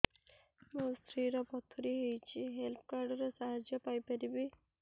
ମୋ ସ୍ତ୍ରୀ ର ପଥୁରୀ ହେଇଚି ହେଲ୍ଥ କାର୍ଡ ର ସାହାଯ୍ୟ ପାଇପାରିବି